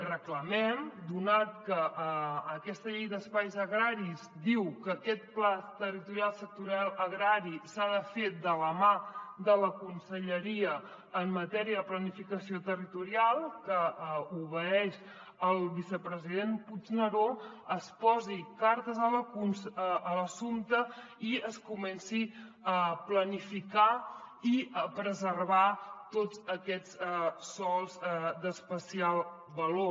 reclamem donat que aquesta llei d’espais agraris diu que aquest pla sectorial agrari s’ha de fer de la mà de la conselleria en matèria de planificació territorial que obeeix al vicepresident puigneró que s’hi intervingui i es comenci a planificar i a preservar tots aquests sòls d’especial valor